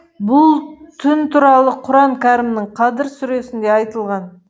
бұл түн туралы құран кәрімнің қадыр сүресінде айтылған